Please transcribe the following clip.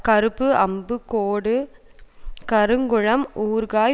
கருப்பு அம்பு கோடு கருங்குளம் ஊறுகாய்